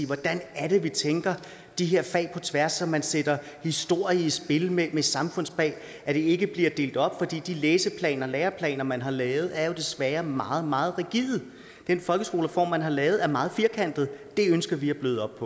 hvordan er det vi tænker de her fag på tværs så man sætter historie i spil med samfundsfag og det ikke bliver delt op for de læseplaner og læreplaner som man har lavet er jo desværre meget meget rigide den folkeskolereform man har lavet er meget firkantet det ønsker vi at bløde